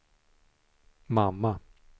mamma